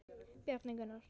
Bjarni Gunnar.